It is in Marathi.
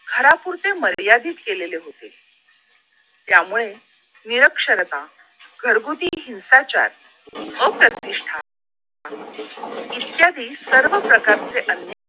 घरापुरते मर्यादित केलेले होते त्यामुळे निरक्षरता घरगुती हिंसाचार अप्रतिष्ठा इत्यादी सर्व प्रकारचे अन्य